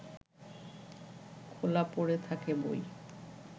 খোলা পড়ে থাকে বই